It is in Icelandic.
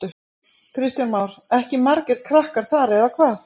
Kristján Már: Ekki margir krakkar þar eða hvað?